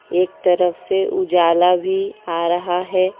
एक तरफ से उजाला भी आ रहा है।